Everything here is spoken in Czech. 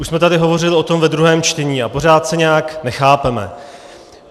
Už jsme tady hovořili o tom ve druhém čtení a pořád se nějak nechápeme.